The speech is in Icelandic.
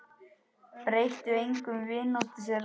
Breytti engu um vináttu þeirra.